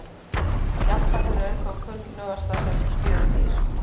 Jafnfætlur eru þó kunnugastar sem fjörudýr.